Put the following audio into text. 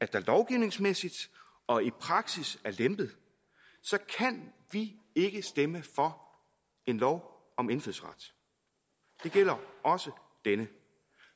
der lovgivningsmæssigt og i praksis er lempet kan vi ikke stemme for en lov om indfødsret det gælder også denne